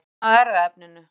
Leitin að erfðaefninu